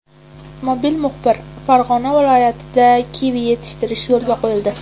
Mobil muxbir: Farg‘ona viloyatida kivi yetishtirish yo‘lga qo‘yildi.